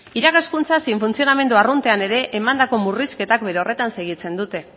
irakaskuntza zein funtzionamendu arruntean ere emandako murrizketan bere horretan segitzen dute